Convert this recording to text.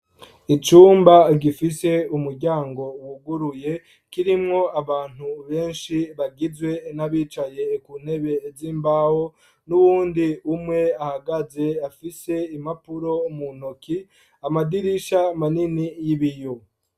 Icumba gifise umuryango wuguruye kirimwo abantu benshi bagizwe n'abicaye ku ntebe z'imbaho, n'uwundi umwe ahagaze afise impapuro mu ntoki, amadirisha manini y'ibiyo.